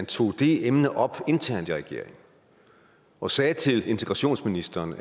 tog det emne op internt i regeringen og sagde til integrationsministeren